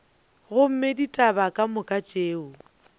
gomme ditaba ka moka tšeo